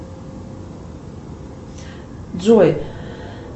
джой